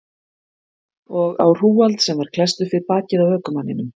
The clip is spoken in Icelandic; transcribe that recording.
Og á hrúgald sem var klesst upp við bakið á ökumanninum.